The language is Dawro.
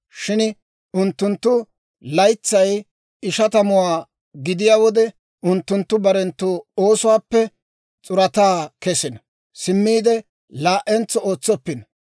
Shin unttunttu laytsay ishatamuwaa gidiyaa wode unttunttu barenttu oosuwaappe s'urataa kesino; simmiide laa"entso ootsoppino.